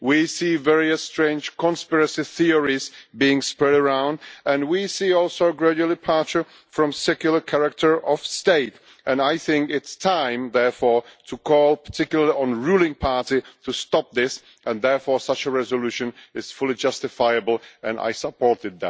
We see various strange conspiracy theories being spread around and we see also a gradual departure from the secular character of the State. I think that it is time, therefore, to call particularly on the ruling party to stop this and therefore such a resolution is fully justifiable, and I supported